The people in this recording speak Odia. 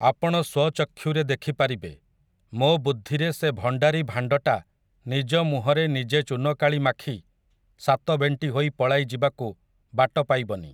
ଆପଣ ସ୍ୱଚକ୍ଷୁରେ ଦେଖି ପାରିବେ, ମୋ ବୁଦ୍ଧିରେ ସେ ଭଣ୍ଡାରୀ ଭାଣ୍ଡଟା ନିଜ ମୁହଁରେ ନିଜେ ଚୂନକାଳି ମାଖି ସାତ ବେଂଟି ହୋଇ ପଳାଇ ଯିବାକୁ ବାଟ ପାଇବନି ।